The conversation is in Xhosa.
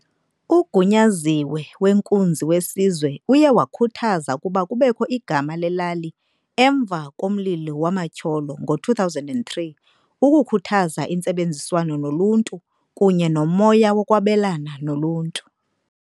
UGunyaziwe weNkunzi weSizwe uye wakhuthaza ukuba kubekho igama lelali emva komlilo wamatyholo ngo-2003 "ukukhuthaza intsebenziswano noluntu kunye nomoya wokwabelana noluntu".